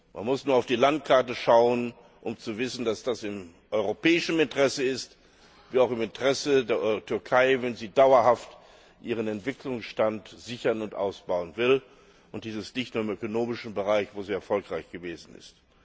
Man muss nur auf die Landkarte schauen, um zu wissen, dass es im europäischen Interesse wie auch im Interesse der Türkei ist, wenn sie dauerhaft ihren Entwicklungsstand sichern und ausbauen will, und dies nicht nur im ökonomischen Bereich, wo sie erfolgreich gewesen ist.